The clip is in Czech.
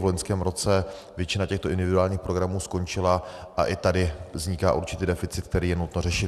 V loňském roce většina těchto individuálních programů skončila a i tady vzniká určitý deficit, který je nutné řešit.